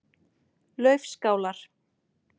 Laufskálar